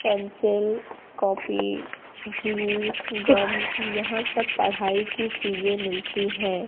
Pencil copy glue gum यहाँ सब पढ़ाई की चीज़ें मिलती हैं।